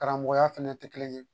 Karamɔgɔya fɛnɛ tɛ kelen ye